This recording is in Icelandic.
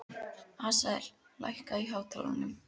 Asael, lækkaðu í hátalaranum.